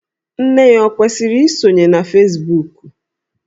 Nne ya ọ kwesiri isonye na Fesbuku?